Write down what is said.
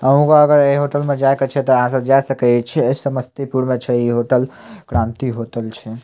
आहू आर के इ होटल में जाय के छै ते जाय सकय छी ए समस्तीपुर में छै इ होटल क्रांति होटल छै ।